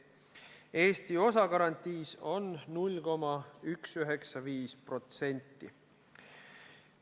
Eesti osa garantiis on 0,195%.